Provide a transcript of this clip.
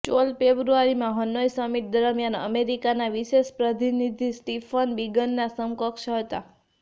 ચોલ ફેબ્રુઆરીમાં Hanoi summit દરમિયાન અમેરિકાના વિશેષ પ્રતિનિધિ સ્ટીફન બીગનના સમકક્ષ હતા